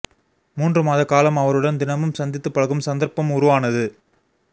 மூன்று மாத காலம் அவருடன் தினமும் சந்தித்து பழகும் சந்தர்ப்பம் உருவானது